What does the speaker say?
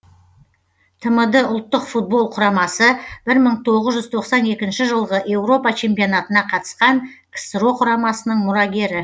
тмд ұлттық футбол құрамасы бір мың тоғыз жүз тоқсан екінші жылғы еуропа чемпионатына қатысқан ксро құрамасының мұрагері